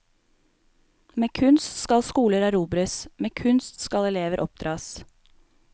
Med kunst skal skoler erobres, med kunst skal elever oppdras.